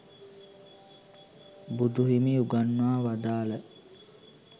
බුදු හිමි උගන්වා වදාළ